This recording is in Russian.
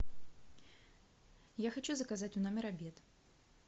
я хочу заказать в номер обед